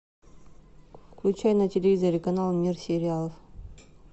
включай на телевизоре канал мир сериалов